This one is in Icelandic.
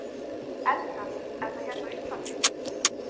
Edda: Er það hérna á Íslandi?